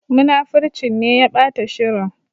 Munafurcin ne ya ɓata shirin.